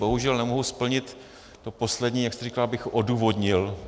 Bohužel nemohu splnit to poslední, jak jste říkal, abych odůvodnil.